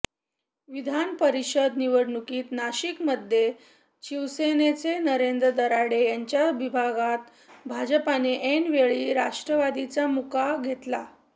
विधान परिषद निवडणुकीत नाशिकमध्ये शिवसेनेचे नरेंद्र दराडे यांच्याविरोधात भाजपाने ऐन वेळी राष्ट्रवादीचा मुका घेतला